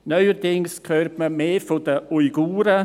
Neuerdings hört man mehr über die Uiguren;